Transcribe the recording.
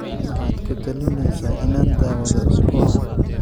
Maxaad ku talinaysaa inaan daawado usbuucan?